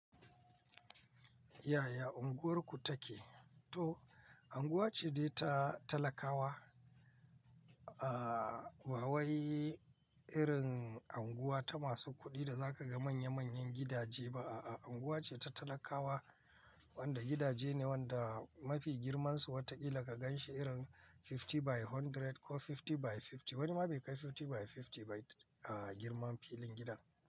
Yaya unguwarku take? To, unguwa ce dai ta talakawa. Aaa, ba wai irin unguwa ta masu kuɗi da za ka ga manya manyan gidaje ba. A'a, unguwa ce ta talakawa wanda gidaje ne wanda mafi girmansu watakila ka gan shi irin fifty by hundred ko fifty by fifty. Wani ma bai kai fifty by fifty ba a girmar filin gidan.